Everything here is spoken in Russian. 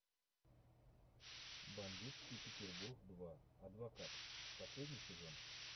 бандитский петербург два адвокат последний сезон